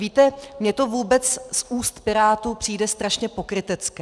Víte, mně to vůbec z úst pirátů přijde strašně pokrytecké.